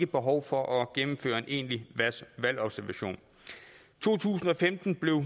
behov for at gennemføre en egentlig valgobservation to tusind og femten blev